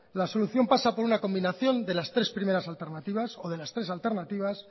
la solución pasa por una combinación de las tres primeras alternativas o de las tres alternativas